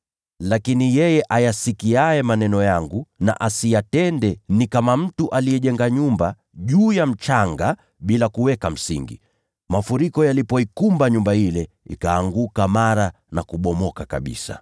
Lakini yeye anayesikia maneno yangu wala asiyatende, ni kama mtu aliyejenga nyumba juu ya ardhi bila kuweka msingi. Mafuriko yalipoikumba nyumba ile, ikaanguka mara na kubomoka kabisa.”